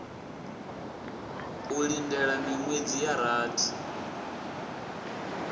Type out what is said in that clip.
u lindela miṅwedzi ya rathi